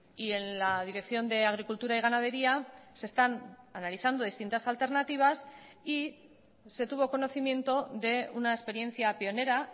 y en la dirección de agricultura y ganadería se están analizando distintas alternativas y se tuvo conocimiento de una experiencia pionera